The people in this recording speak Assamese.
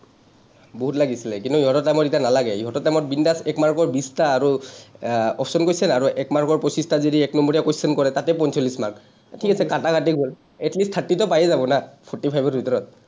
বহুত লাগিছিলে। কিন্তু ইহঁতৰ time ত এতিয়া নালাগে। ইহঁতৰ time ত bindas এক mark ৰ বিশটা আৰু আহ option question আৰু এক mark ৰ পঁচিশটাত যদি এক নম্বৰীয়া question কৰে, তাতে পঞ্চলিছ mark, ঠিক আছে, কাটা কাটিত গ’ল। at least টো পায়েই যাব না forty five ৰ ভিতৰত।